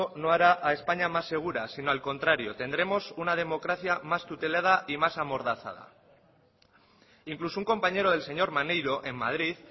no hará a españa más segura sino al contrario tendremos una democracia mas tutelada y más amordazada incluso un compañero del señor maneiro en madrid